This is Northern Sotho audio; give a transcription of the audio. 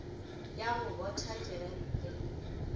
ya go botha digempe le